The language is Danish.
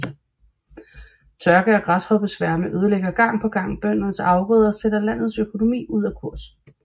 Tørke og græshoppesværme ødelægger gang på gang bøndernes afgrøder og sætter landets økonomi ud af kurs